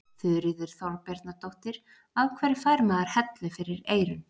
Þuríður Þorbjarnardóttir: Af hverju fær maður hellu fyrir eyrun?